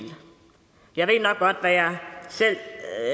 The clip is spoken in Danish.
jeg ved nok godt hvad jeg selv